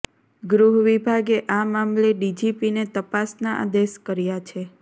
ગૃહ વિભાગે આ મામલે ડીજીપીને તપાસના આદેશ કર્યા છે